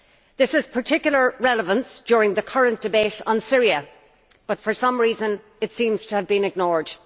This is of particular relevance during the current debate on Syria, but for some reason it seems to have been ignored.